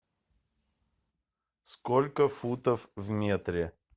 сколько футов в метре